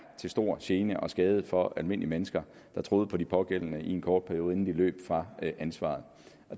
til stor gene og skade for almindelige mennesker der troede på de pågældende i en kort periode inden de løb fra ansvaret